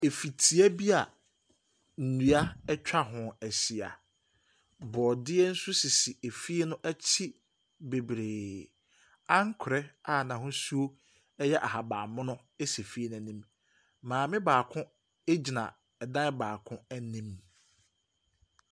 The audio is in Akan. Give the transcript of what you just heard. Efitia bi a nnua atwa ho ahyia. Borɔdeɛ nso sisi efie no akyi bebree. Ankorɛ a n'ahosuo yɛ ahaban mono si fie no anim. Maame baako gyina dan baako anim.